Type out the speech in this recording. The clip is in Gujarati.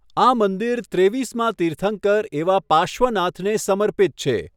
આ મંદિર ત્રેવીસમા તીર્થંકર એવા પાર્શ્વનાથને સમર્પિત છે.